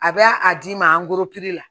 A bɛ a d'i ma angoloki la